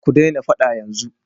Ku daina faɗa yanzu!